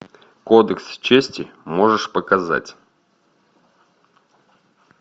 кодекс чести можешь показать